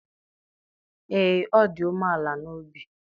ee, ọ dị umeala n'obi